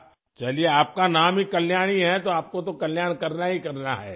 چلو، آپ کا نام ہی کلیانی ہے، تو آپ کو تو کلیان کرنا ہی کرنا ہے